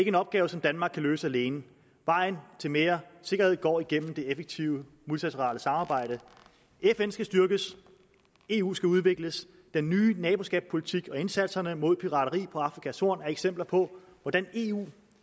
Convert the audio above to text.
en opgave som danmark kan løse alene vejen til mere sikkerhed går igennem det effektive multilaterale samarbejde fn skal styrkes eu skal udvikles den nye naboskabspolitik og indsatserne mod pirateri på afrikas horn er eksempler på hvordan eu